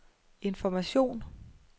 information